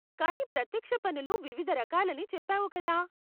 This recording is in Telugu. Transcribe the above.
కానీ ప్రత్యక్ష పన్నులు వివిధ రకాలని చెప్పావు కదా?